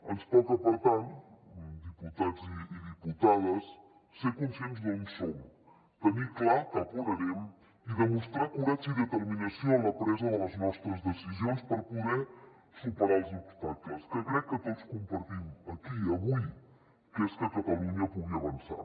ens toca per tant diputats i diputades ser conscients d’on som tenir clar cap on anem i demostrar coratge i determinació en la presa de les nostres decisions per poder superar els obstacles perquè crec que tots compartim aquí avui que catalunya pugui avançar